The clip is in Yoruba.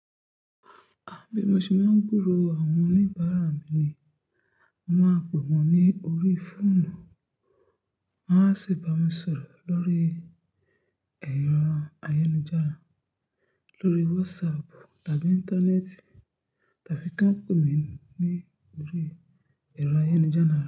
A bí mo ṣe máa ń gburò àwọn oníbàárà mi ni mo máa pè wọ́n ní orí fóònù, wọn a sì bá mi sọ̀rọ̀ lórí ẹ̀rọ ayélujára, lórí WhatsApp tàbí Íńtánẹ́ẹ̀tì tàbí kí wọ́n pè mí ní orí ẹ̀rọ ayélujára.